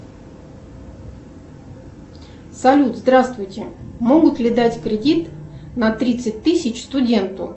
салют здравствуйте могут ли дать кредит на тридцать тысяч студенту